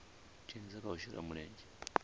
dzhenisa kha u shela mulenzhe